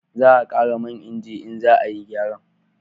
Za a kara man inji in za a yi gyara